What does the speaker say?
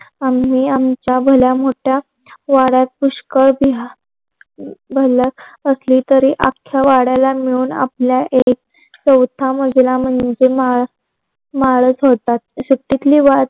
आम्ही आमचा भला मोठा वाड्यात पुष्कळ भल असळ तरी आख्या वाड्याला मिळून आपल एक चौथा मजला मंजे माल माळच होता. सुट्टीतली वाद